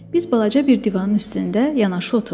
Biz balaca bir divanın üstündə yanaşı oturduq.